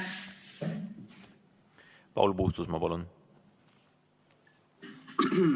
Paul Puustusmaa, palun!